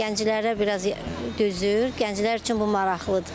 Gənclərə biraz dözür, gənclər üçün bu maraqlıdır.